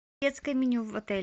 детское меню в отеле